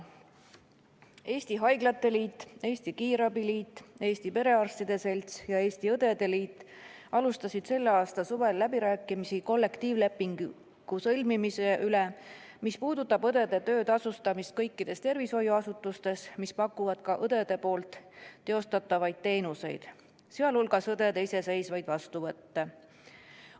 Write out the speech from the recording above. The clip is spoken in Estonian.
Eesti Haiglate Liit, Eesti Kiirabi Liit, Eesti Perearstide Selts ja Eesti Õdede Liit alustasid selle aasta suvel läbirääkimisi kollektiivlepingu sõlmimise üle, mis puudutab õdede töötasustamist kõikides tervishoiuasutustes, mis pakuvad ka õdede osutatavaid teenuseid, sh õdede iseseisvaid vastuvõtte.